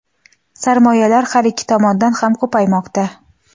sarmoyalar har ikki tomonda ham ko‘paymoqda.